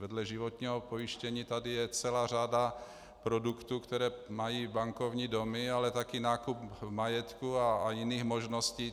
Vedle životního pojištění tady je celá řada produktů, které mají bankovní domy, ale taky nákup majetku a jiných možností.